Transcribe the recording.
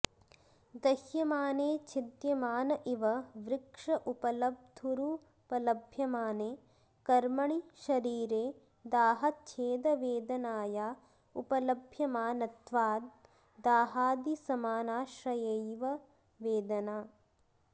दह्यमाने छिद्यमान इव वृक्ष उपलब्धुरुपलभ्यमाने कर्मणि शरीरे दाहच्छेदवेदनाया उपलभ्यमानत्वाद् दाहादिसमानाश्रयैव वेदना